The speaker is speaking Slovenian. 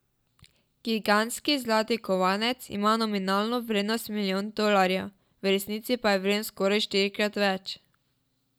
Gigantski zlati kovanec ima nominalno vrednost milijon dolarjev, v resnici pa je vreden skoraj štirikrat več.